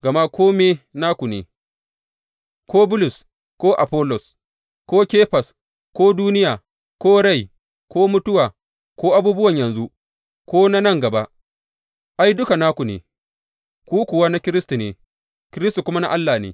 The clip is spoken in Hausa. Gama kome naku ne, ko Bulus ko Afollos ko Kefas ko duniya ko rai ko mutuwa ko abubuwa na yanzu ko na nan gaba, ai, duka naku ne, ku kuwa na Kiristi ne, Kiristi kuma na Allah ne.